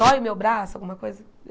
Dói o meu braço, alguma coisa.